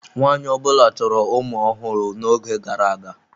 Nwaanyị ọ bụla chọrọ ụmụ ọhụrụ n'oge gara aga.